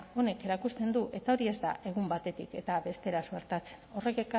honek erakusten du eta hori ez da egun batetik bestera suertatzen horrek